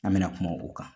An bɛna kuma o kan